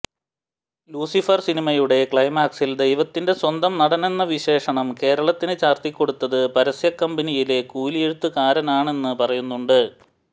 Lucifer സിനിമയുടെ ക്ലൈമാക്സിൽ ദൈവത്തിന്റെ സ്വന്തം നാടെന്ന വിശേഷണം കേരളത്തിന് ചാർത്തിക്കൊടുത്തത് പരസ്യക്കമ്പനിയിലെ കൂലിയെഴുത്തുകാരനാണെന്ന് പറയുന്നുണ്ട്